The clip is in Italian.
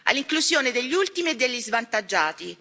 all'inclusione degli ultimi e degli svantaggiati.